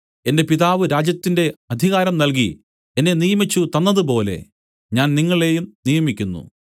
എന്റെ പിതാവ് രാജ്യത്തിന്റെ അധികാരം നൽകി എന്നെ നിയമിച്ചുതന്നതുപോലെ ഞാൻ നിങ്ങളെയും നിയമിക്കുന്നു